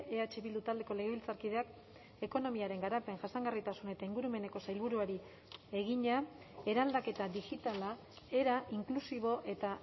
eh bildu taldeko legebiltzarkideak ekonomiaren garapen jasangarritasun eta ingurumeneko sailburuari egina eraldaketa digitala era inklusibo eta